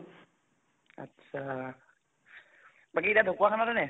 আত্চ্ছা, বাকী এতিয়া ঢকুৱাখানাতে নে?